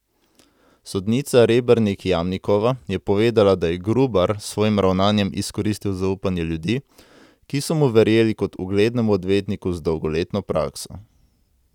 Sodnica Rebernik Jamnikova je povedala, da je Grubar s svojim ravnanjem izkoristil zaupanje ljudi, ki so mu verjeli kot uglednemu odvetniku z dolgoletno prakso.